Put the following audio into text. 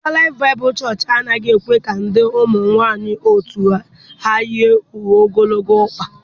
Dipa laịf baibulu Choch anaghị ekwe ka ndị ụmụ nwaanyị otu ha yi uwe ogologo ọkpa.